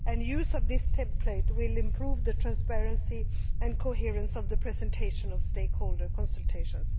Use of this template will improve the transparency and coherence of the presentation of stakeholder consultations.